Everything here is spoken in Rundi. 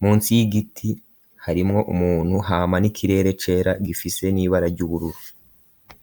munsi y'igiti, harimwo umuntu; hama n'ikirere cera, gifise n'ibara ry'ubururu.